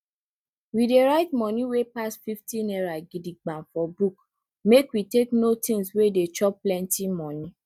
we dey write moni wey pass fifty naira gidigba for book make we take know things wey dey chop plenti moni